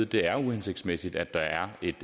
det er uhensigtsmæssigt at der er et